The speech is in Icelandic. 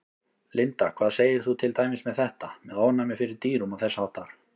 Linda: Hvað segir þú til dæmis með þetta, með ofnæmi fyrir dýrum og þess háttar?